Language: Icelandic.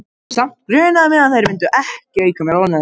Samt grunaði mig að þær myndu ekki auka mér ánægju.